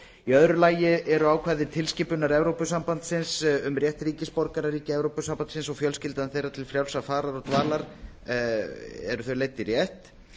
í öðru lagi eru ákvæði tilskipunar evrópusambandsins um rétt ríkisborgara ríkja evrópusambandsins og fjölskyldna þeirra til frjálsrar farar og dvalar leidd í rétt